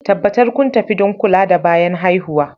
Tabbatar kun tafi don kula da bayan haihuwa